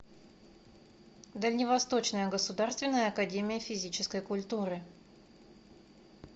дальневосточная государственная академия физической культуры